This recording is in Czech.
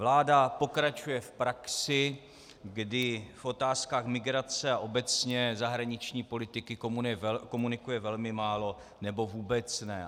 Vláda pokračuje v praxi, kdy v otázkách migrace a obecně zahraniční politiky komunikuje velmi málo nebo vůbec ne.